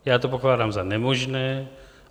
Já to pokládám za nemožné.